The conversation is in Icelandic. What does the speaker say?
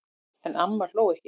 En amma hló ekki.